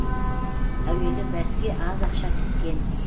әуелі бәске аз ақша тіккен